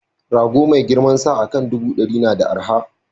Rago mai girmansa akan ɗubu ɗari na da arha